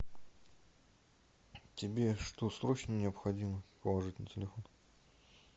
тебе что срочно необходимо положить на телефон